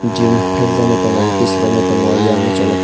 gym kasijak nai tongo tisajak nai tongo eyang sorok.